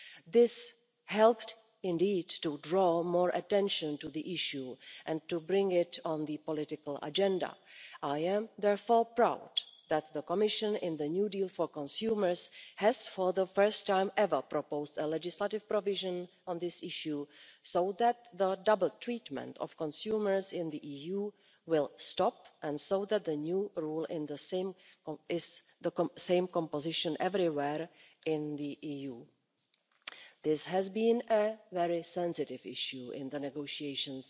This helped to draw more attention to the issue and to bring it onto the political agenda. I am therefore proud that the Commission, in the new deal for consumers, has, for the first time ever, proposed a legislative provision on this issue so that the dual treatment of consumers in the EU will stop, and so that the new rule is the same composition everywhere in the EU. This has been a very sensitive issue in the negotiations,